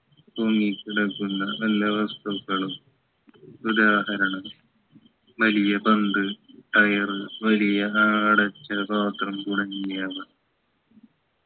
മുങ്ങിക്കിടക്കുന്ന വല്ല വസ്തുക്കളും ഉദാഹരണം വലിയ പന്ത് tyre വലിയ ആടച്ച പാത്രം തുടങ്ങിയവ